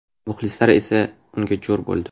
Muxlislar esa unga jo‘r bo‘ldi.